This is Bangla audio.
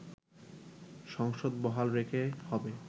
সংসদ বহাল রেখে হবে